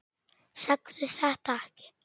Segðu þetta ekki.